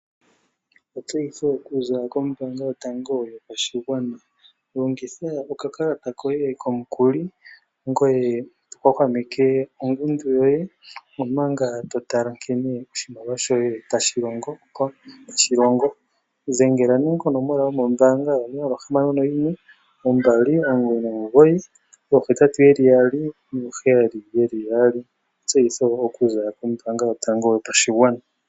Etseyitho okuza kombanga yotango yopashigwana. Longitha okakalata koye komukuli ngoye to hwahwameke ongundu yoye omanga to tala nkene oshimaliwa shoye tashi longo. Dhengela nee konomola yomombanga, onola ohamano noyimwe ombali omugoyi nomugoyi ohetatu yeli yaali nooheyali yeli yaali. Etseyitho okuza kombanga yotango yopashigwana.